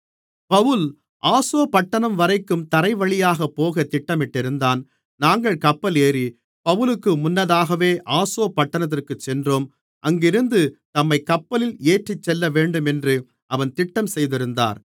Pavul Assos பட்டணம்வரைக்கும் தரைவழியாகப் போகத் திட்டமிட்டிருந்தான் நாங்கள் கப்பல் ஏறி பவுலுக்கு முன்னதாகவே ஆசோ பட்டணத்திற்குச் சென்றோம் அங்கிருந்து தம்மைக் கப்பலில் ஏற்றிச்செல்லவேண்டுமென்று அவன்‌ திட்டம் செய்திருந்தார்